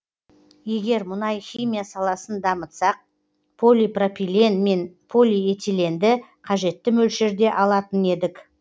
егер мұнай химия саласын дамытсақ полипропилен мен полиэтиленді қажетті мөлшерде алатын едік